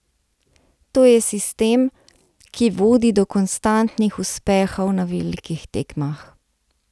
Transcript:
To je sistem, ki vodi do konstantnih uspehov na velikih tekmah.